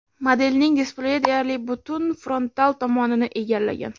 Modelning displeyi deyarli butun frontal tomonini egallagan.